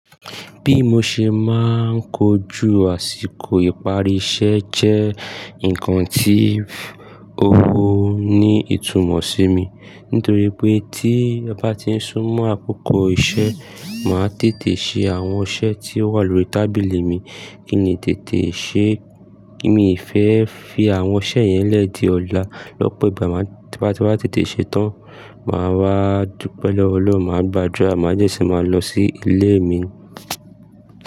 Bí mo ṣe máa ń kojú àsìkò ìparí iṣẹ́ jẹ́ nǹkan tí o ní ìtumọ̀ sí mi. Nítorí pé tí ọ ba ti ń súnmọ́ àkókò iṣẹ́, màá tètè ṣe àwọn iṣẹ́ tí ó wà lórí tábìlì mi. Kí n le tètè ṣe, kí mi fẹ́ fi àwọn iṣẹ́ yẹn lẹ́ di ọ̀la. Lọ́pọ̀ ìgbà, tí mo bá tètè ṣe tán, màá wá dupe pẹ̀lú Ọlọ́run, màá gbàdúrà, màá dẹ́ ṣi màá lọ sí ilé mi.